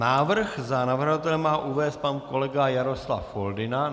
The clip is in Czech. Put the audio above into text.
Návrh za navrhovatele má uvést pan kolega Jaroslav Foldyna.